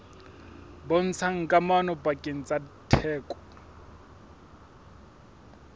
bontshang kamano pakeng tsa theko